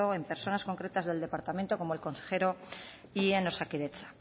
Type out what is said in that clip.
en personas concretas del departamento como el consejero y en osakidetza